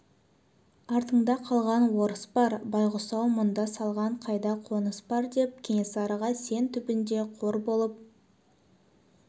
артыңда қалған орыс бар байғұс-ау мұнда саған қайда қоныс бар деп кенесарыға сен түбінде қор болып